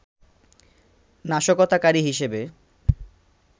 নাশকতাকারী হিসেবে